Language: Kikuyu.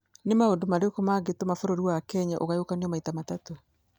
nĩ maũndũ marĩkũ mangĩtũma bũrũri wa Kenya ũgayũkanio maita matatũ